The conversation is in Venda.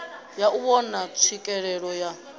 ya u vhona tswikelelo ya